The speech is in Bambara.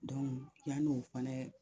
yan'o fana